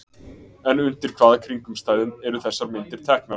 En undir hvaða kringumstæðum eru þessar myndir teknar?